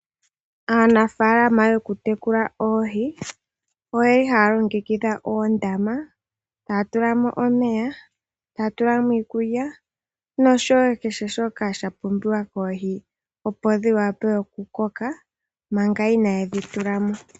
Aa afa Alana to ku tekula oohi, oye li ha ya longekidha oondama, taya tulamo omeya, iikulya, nakehe shoka sha pumbiwa koohi dhiwape oku koka, mpanga ina ye dhi tulamo.